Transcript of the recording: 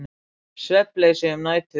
Svefnleysi um nætur.